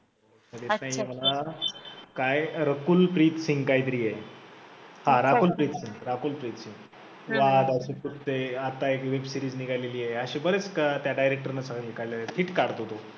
कळत नाहीये मला, काय रकुलप्रीत सिंघ काहीतरी आहे हा राकुल प्रीत सिंघ, राकुल प्रीत सिंघ वाध असे, कुत्ते आता एक web series निघालेली आहे, असे बरेच त्या director ने series काढलेल्या आहेत, hit काढतो तो.